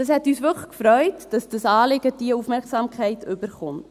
Es hat uns wirklich gefreut, dass das Anliegen diese Aufmerksamkeit erhält.